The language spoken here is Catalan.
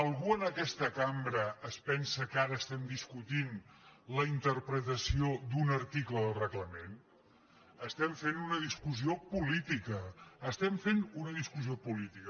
algú en aquesta cam·bra es pensa que ara estem discutint la interpretació d’un article del reglament estem fent una discussió política estem fent una discussió política